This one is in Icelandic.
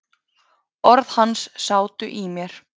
Orð hans sátu í mér.